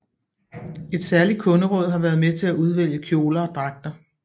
Et særligt kunderåd har været med til at udvælge kjoler og dragter